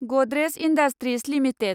Godrej industries limited